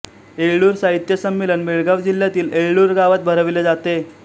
येळ्ळूर साहित्य संमेलन बेळगाव जिल्ह्यातील येळ्ळूर गावात भरवले जाते